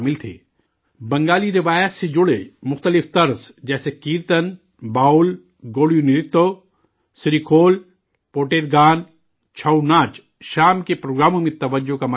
بنگالی روایات سے جڑے مختلف فنون جیسے کیرتن، باؤل، گوڑیو نرتیہ، سری کھول، پوٹیر گان، چھوؤ ناچ، شام کے پروگراموں میں توجہ کا مرکز بنے تھے